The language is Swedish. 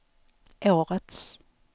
årets